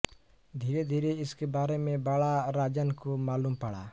धीरेधीरे इसके बारे में बड़ा राजन को मालूम पड़ा